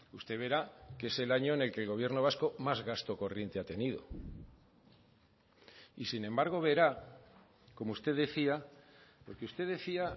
usted verá que es el año en el que el gobierno vasco más gasto corriente ha tenido y sin embargo verá como usted decía porque usted decía